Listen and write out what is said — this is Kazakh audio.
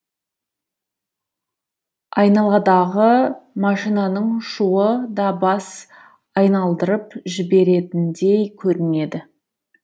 айналадағы машинаның шуы да бас айналдырып жіберетіндей көрінеді